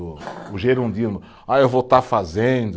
O o gerundismo, ah eu vou estar fazendo